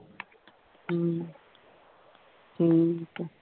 ਹਮ ਠੀਕ ਹੈ